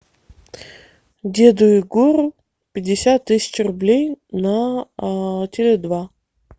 деду егору пятьдесят тысяч рублей на теле два